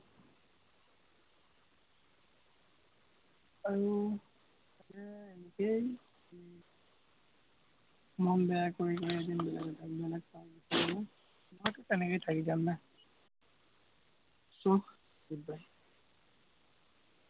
আৰু একেই মন বেয়া কৰি এদিন বেলেগহৈ যাম, চব তেনেকেই থাকি যাম না, so, good bye